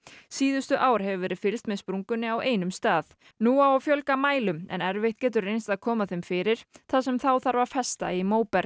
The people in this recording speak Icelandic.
síðustu ár hefur verið fylgst með sprungunni á einum stað nú á að fjölga mælum en erfitt getur reynst að koma þeim fyrir þar sem þá þarf að festa í